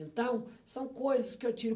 Então, são coisas que eu tiro.